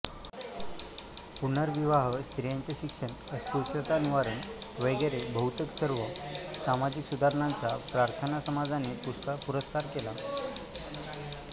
पुनर्विवाह स्त्रियांचे शिक्षण अस्पृश्यतानिवारण वगैरे बहुतेक सर्व सामाजिक सुधारणांचा प्रार्थनासमाजाने पुरस्कार केला